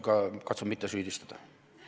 Ma katsun mitte süüdistada.